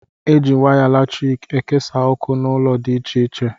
Eji waya latriki ekesa ọkụ n' ụlọ dị ịche ịche